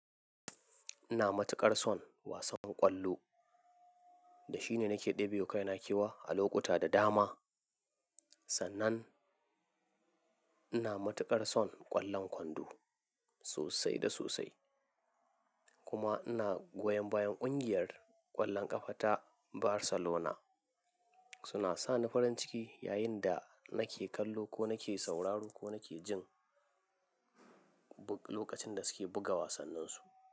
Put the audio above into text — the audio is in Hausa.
Ina matuƙar son wasan ƙwallo da shi ne nake ɗebewa kaina kewa a lokuta da dama. Sannan ina matuƙar son ƙwallon kwando sosai da sosai kuma ina goyon bayan ƙungiyar ƙwallon ƙafa ta Barcelona. Suna sani farin ciki yayin da nake kallo ko nake sauraro ko nake jin lokacin da suke buga wasanninsu.